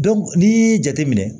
n'i y'i jateminɛ